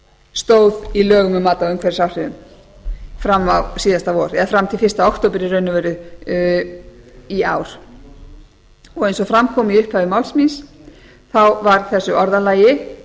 stóð í lögum um mat á umhverfisáhrifum fram til fyrsta október í raun og veru í ár eins og fram kom í upphafi máls þá var þessu orðalagi